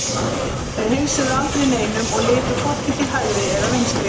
Þeir heilsuðu aldrei neinum og litu hvorki til hægri eða vinstri.